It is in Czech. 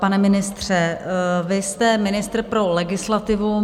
Pane ministře, vy jste ministr pro legislativu.